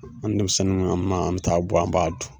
An denmisɛnninan man an bi t'a bɔ an b'a dun